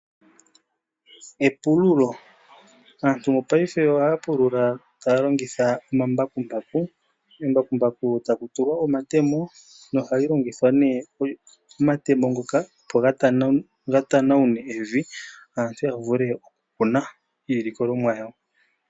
Epululo. Aantu mopaife ohaa pulula taa longitha omambakumbaku, kembakumbaku taku tulwa omatemo, nohali longitha omatemo ngoka opo ga tanawune evi, aantu ya vule okukuna iilikolomwa yawo.